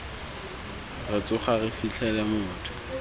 re tsoga re fitlhele motho